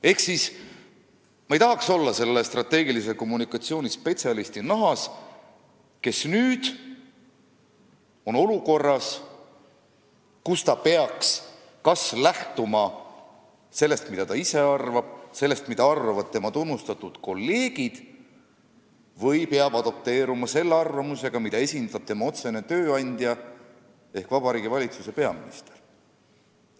Ehk ma ei tahaks olla selle strateegilise kommunikatsiooni spetsialisti nahas, kes on nüüd olukorras, kus ta peaks kas lähtuma sellest, mida ta ise arvab, sellest, mida arvavad tema tunnustatud kolleegid, või kes peaks adapteeruma selle arvamusega, mida esindab tema otsene tööandja ehk Vabariigi Valitsuse peaminister.